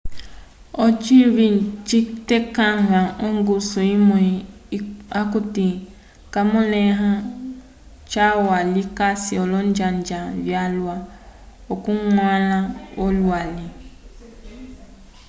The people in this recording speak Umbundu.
ocinyi citekãva ongusu imwe okuti kayimõleha calwa likasi olonjanja vyalwa okuñgwãla olwali